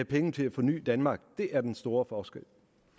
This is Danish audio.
penge til at forny danmark det er den store forskel